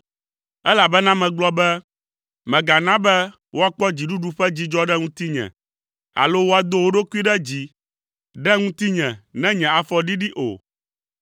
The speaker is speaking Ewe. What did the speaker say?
Elabena megblɔ be, “Mègana be woakpɔ dziɖuɖu ƒe dzidzɔ ɖe ŋutinye, alo woado wo ɖokui ɖe dzi ɖe ŋutinye ne nye afɔ ɖiɖi o.”